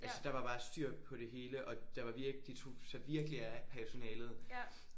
Altså der var bare styr på det hele og der var virk de tog sig virkelig af personalet